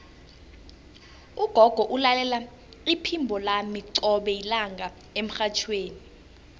ugogo ulalela iphimbo lami qobe lilanga emrhatjhweni